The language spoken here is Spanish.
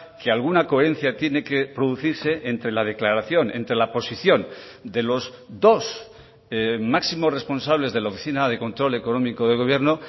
que alguna coherencia tiene que producirse entre la declaración entre la posición de los dos máximos responsables de la oficina de control económico del gobierno